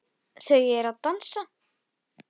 Lilli rak upp stór augu.